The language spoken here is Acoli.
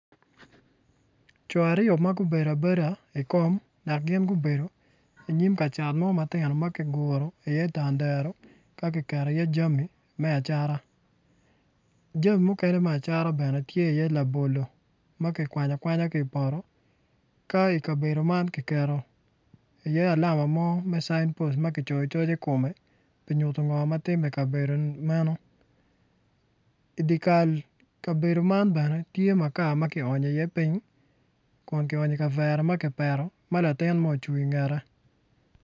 Co aryo ma gubedo abeda i kom dok gin gubedo inyim ka cat mo matino ma kiguro iye tandaro ka kiketo iye jami me acata jami mukene bene tye labolo ma kikwanyo akwanya ki i poto ka ikabedo man kiketo iye lama mo me cain post ma kicoyo coc i kome pi nyuto ngo ma timme i kabedo meno idyekal kabedo man bene tye makar ma kionyo iye piny kun kionyo i kavera ma kipeto ma latin mo ocung ingete.